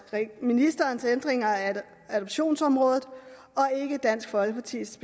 ministerens ændringer af adoptionsområdet og ikke dansk folkepartis